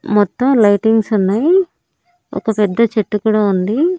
మొత్తం లైటింగ్స్ ఉన్నాయి ఒక పెద్ద చెట్టు కూడా ఉంది.